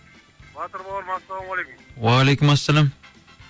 батыр бауырым ассалаумағалейкум уағалейкумассәләм